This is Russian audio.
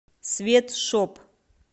свет шоп